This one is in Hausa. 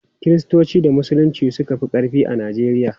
Kiristanci da Musulunci suka fi ƙarfi a Najeriya.